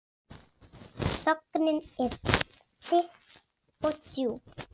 Þögnin er þykk og djúp.